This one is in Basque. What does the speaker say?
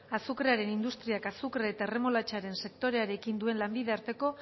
azukrearen industriak azukre eta erremolatxaren sektorearekin duen lanbide arteko